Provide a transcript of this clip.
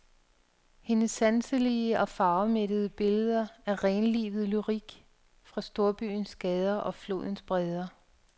Hendes sanselige og farvemættede billeder er renlivet lyrik fra storbyens gader og flodens bredder.